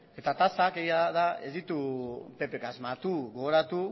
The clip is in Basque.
eta tasak egia da ez ditugu ppk asmatu gogoratu